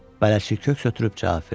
Bələdçi köks ötürüb cavab verdi.